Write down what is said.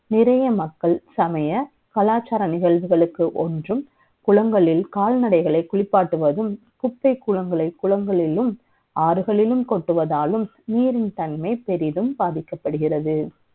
பழைய மக்கள் சமய கலாச்சாரங்களை வழக்கு ஒன்றும் குளங்களில் கால்நடைகளை குளிப்பாட்டுவதும் குப்பை கூடங்களை குணங்களிலும் ஆறுகளிலும் கொட்டுவதாலும் நீரின் தன்மை பெரிதும் பாதிக்கப்படுகிறது